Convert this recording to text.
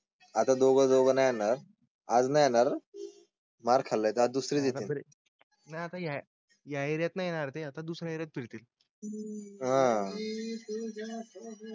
आता दोघांना ही येणार. आज नाही येणार. मार खाल्ला. दुसरी नाही या येणार् ते आता दुसर्याच एरियात फिरतील आह.